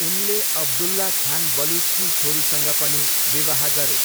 उनले अब्दुल्लाह खान बलुचकी छोरीसँग पनि विवाह गरे।